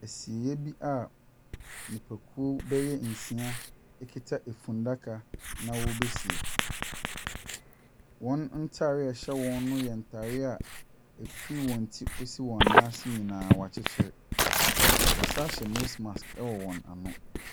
Asieeɛ bi a nipakuo bɛyɛ nsia kuta funnaka na wɔrebɛsie. Wɔn ntadeɛ a ɛhyɛ wɔn no yɛ ntadeɛ a, ɛfiri wɔn ti de rekɔsi wɔn nan ase nyinaa, wɔakyekyere. Wɔsane nso hyɛ nose mask wɔ wɔn ano.